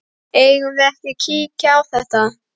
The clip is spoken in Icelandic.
Eigum við ekki að kíkja á þetta?